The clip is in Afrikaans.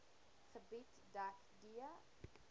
gebied dek d